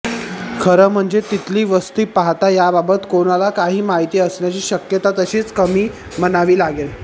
खरं म्हणजे तिथली वस्ती पाहता याबाबत कोणाला काही माहिती असण्याची शक्यता तशी कमीच म्हणावी लागेल